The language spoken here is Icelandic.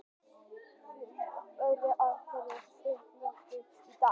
Lillý Valgerður Pétursdóttir: Af hverju ert þú mættur hingað í dag?